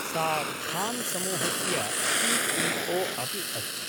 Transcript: सा खान्समूहस्य C E O अपि अस्ति।